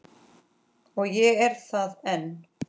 Og ég er það enn